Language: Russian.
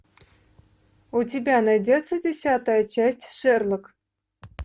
у тебя найдется десятая часть шерлок